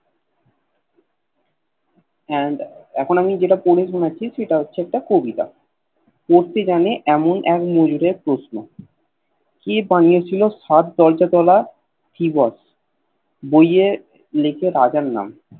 and এখন আমি যেটা পড়ে শুনাচ্ছি সেটা হচ্ছে একটা কবিতা পড়তে জানে এমন এক মজুরের প্রশ্ন কে বানিয়ে ছিল সাত দরজা তলা থিবস বইয়ে লিখে রাজার নাম